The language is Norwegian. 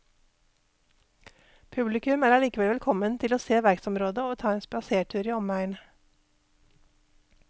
Publikum er allikevel velkommen til å se verksområdet og ta en spasertur i omegn.